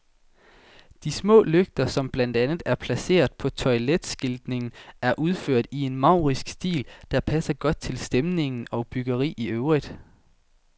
De små lygter, som blandt andet er placeret på toiletskiltningen, er udført i en maurisk stil, der passer godt til stemning og byggeri i øvrigt.